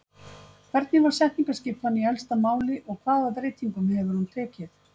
Hvernig var setningaskipan í elsta máli og hvaða breytingum hefur hún tekið?